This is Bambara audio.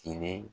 Kilen